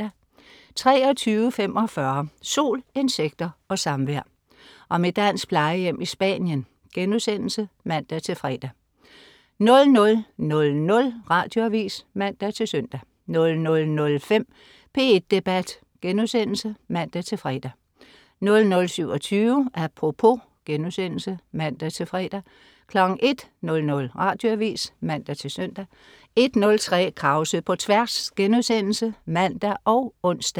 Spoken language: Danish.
23.45 Sol, insekter og samvær. Om et dansk plejehjem i Spanien * (man-fre) 00.00 Radioavis (man-søn) 00.05 P1 Debat* (man-fre) 00.27 Apropos* (man-fre) 01.00 Radioavis (man-søn) 01.03 Krause på Tværs* (man og ons)